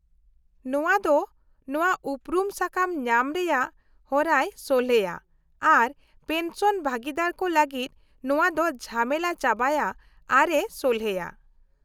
-ᱱᱚᱶᱟ ᱫᱚ ᱱᱚᱶᱟ ᱩᱯᱨᱩᱢ ᱥᱟᱠᱟᱢ ᱧᱟᱢ ᱨᱮᱭᱟᱜ ᱦᱚᱨᱟᱭ ᱥᱚᱞᱦᱮᱭᱟ ᱟᱨ ᱯᱮᱱᱥᱚᱱ ᱵᱷᱟᱹᱜᱤᱫᱟᱹᱨ ᱠᱚ ᱞᱟᱹᱜᱤᱫ ᱱᱚᱶᱟ ᱫᱚ ᱡᱷᱟᱢᱮᱞᱟ ᱪᱟᱵᱟᱭᱟ ᱟᱨᱮ ᱥᱚᱞᱦᱮᱭᱟ ᱾